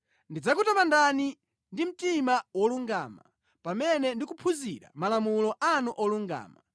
Ndidzakutamandani ndi mtima wolungama, pamene ndikuphunzira malamulo anu olungama.